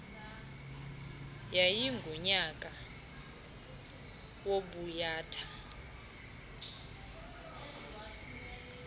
yayi ngunyaka wobuyatha